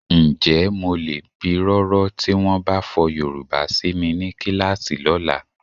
Ǹjẹ́ mo lè pirọrọ tí wọ́n bá fọ Yorùbá si mi ní kíláàsì lọ́la?